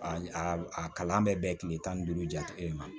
A a kalan bɛ bɛn kile tan ni duuru cɛ i ma